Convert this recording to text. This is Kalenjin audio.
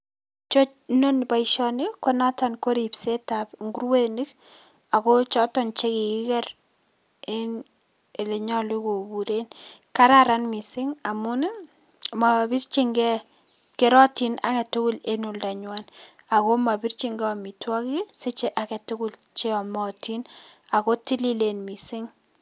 Iche inoni boisioni konoton koripsetab nguruenik ago choton chekikiker en elenyolu koburen. Kararan missing' amun ii mobirchingei , kerotin agetugul en oldanyuan ago mobirchingei omitwogik ii siche agetugul cheomotin ago tililen missing'.